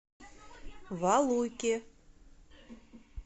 валуйки